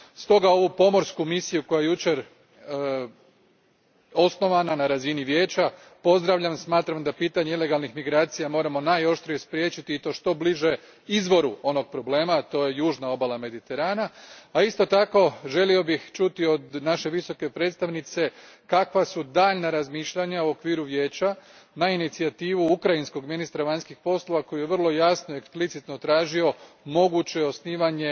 Stoga ovu pomorsku misiju koja je jučer osnovana na razini Vijeća, pozdravljam. Smatram da pitanje ilegalnih migracija moramo najoštrije spriječiti i to što bliže izvoru onog problema to je južna obala Mediterana, a isto tako želio bih čuti od naše Visoke predstavnice kakva su daljnja razmišljanja u okviru Vijeća na inicijativu ukrajinskog ministra vanjskih poslova koji je vrlo jasno i eksplicitno tražio moguće osnivanje